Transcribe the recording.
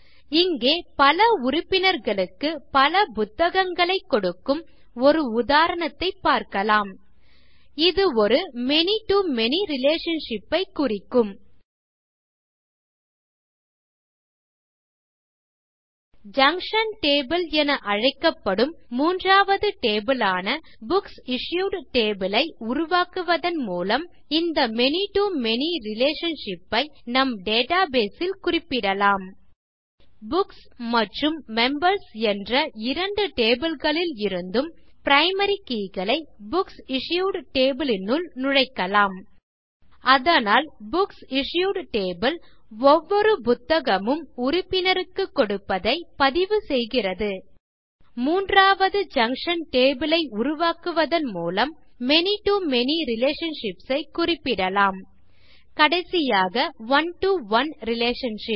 இங்கே பல உறுப்பினர்களுக்கு பல புத்தகங்களைக் கொடுக்கும் ஒரு உதாரணத்தைப் பார்க்கலாம் இது ஒரு many to மேனி ரிலேஷன்ஷிப் ஐ குறிக்கும் எனவே ஜங்ஷன் டேபிள் என அழைக்கப்படும் மூன்றாவது டேபிள் ஆன புக்சிஷ்யூட் டேபிள் ஐ உருவாக்குவதன் மூலம் இந்த many to மேனி ரிலேஷன்ஷிப் ஐ நம் டேட்டாபேஸ் ல் குறிப்பிடலாம் மேலும் இங்கே புக்ஸ் மற்றும் மெம்பர்ஸ் என்ற இரண்டு tableகளில் இருந்தும் பிரைமரி keyகளை புக்சிஷ்யூட் டேபிள் னுள் நுழைக்கலாம் அதனால் புக்சிஷ்யூட் டேபிள் ஒவ்வொரு புத்தகமும் உறுப்பினருக்குக் கொடுப்பதை பதிவுசெய்கிறது மூன்றாவது ஜங்ஷன் டேபிள் ஐ உருவாக்குவதன் மூலம் many to மேனி ரிலேஷன்ஷிப்ஸ் ஐ குறிப்பிடலாம் கடைசியாக one to ஒனே ரிலேஷன்ஷிப்